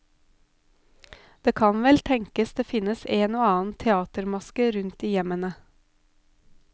Det kan vel tenkes det finnes en og annen teatermaske rundt i hjemmene?